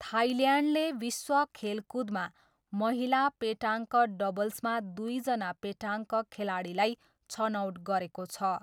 थाइल्यान्डले विश्व खेलकुदमा महिला पेटाङ्क डबल्समा दुईजना पेटाङ्क खेलाडीलाई छनौट गरेको छ।